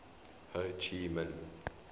ho chi minh